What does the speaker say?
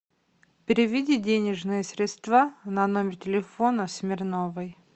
переведи денежные средства на номер телефона смирновой